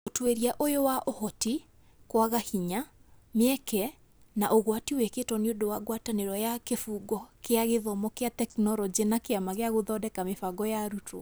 Ũtuĩria ũyũ wa Ũhoti, kwaga hinya, mĩeke, na ũgwati wĩkĩtwo nĩ ũndũ wa ngwatanĩro ya Kĩbungo kĩa gĩthomo kĩa tekinoronjĩ na Kĩama gĩa Gũthondeka Mĩbango ya Arutwo .